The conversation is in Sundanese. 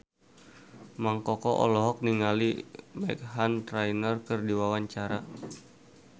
Mang Koko olohok ningali Meghan Trainor keur diwawancara